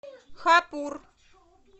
хапур